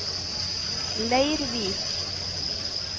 Leirvik